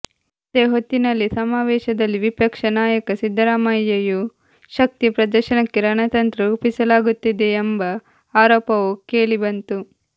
ಅದೇ ಹೊತ್ತಿನಲ್ಲಿ ಸಮಾವೇಶದಲ್ಲಿ ವಿಪಕ್ಷ ನಾಂುುಕ ಸಿದ್ಧರಾಮಂು್ಯು ಶಕ್ತಿ ಪ್ರದರ್ಶನಕ್ಕೆ ರಣತಂತ್ರ ರೂಪಿಸಲಾಗುತ್ತಿದೆಂುೆುಂಬ ಆರೋಪವೂ ಕೇಳಿ ಬಂತು